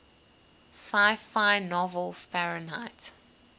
sci fi novel fahrenheit